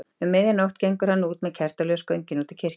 Um miðja nótt gengur hann með kertaljós göngin út í kirkju.